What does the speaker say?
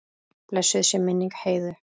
Blessuð sé minning Heiðu.